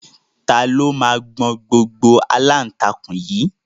Ta ló máa gbọn gbogbo aláǹtakùn yìí?